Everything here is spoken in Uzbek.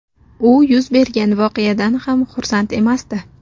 U yuz bergan voqeadan hech ham xursand emasdi.